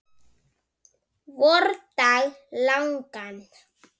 vordag langan.